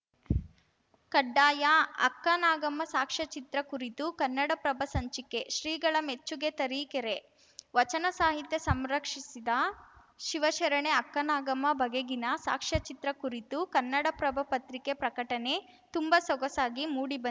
ಕಡ್ಡಾಯ ಅಕ್ಕನಾಗಮ್ಮ ಸಾಕ್ಷ್ಯಚಿತ್ರ ಕುರಿತು ಕನ್ನಡಪ್ರಭ ಸಂಚಿಕೆ ಶ್ರೀಗಳ ಮೆಚ್ಚುಗೆ ತರೀಕೆರೆ ವಚನ ಸಾಹಿತ್ಯ ಸಂರಕ್ಷಿಸಿದ ಶಿವಶರಣೆ ಅಕ್ಕನಾಗಮ್ಮ ಬಗೆಗಿನ ಸಾಕ್ಷ್ಯಚಿತ್ರ ಕುರಿತು ಕನ್ನಡಪ್ರಭ ಪತ್ರಿಕೆ ಪ್ರಕಟಣೆ ತುಂಬಾ ಸೊಗಸಾಗಿ ಮೂಡಿಬಂದ್